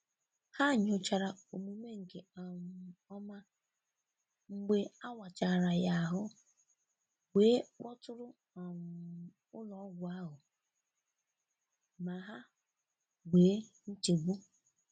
Ha nyochara omume nke um ọma mgbe a wachara ya ahụ wee kpọtụrụ um ụlọọgwụ ahụ ma ha wee nchegbu.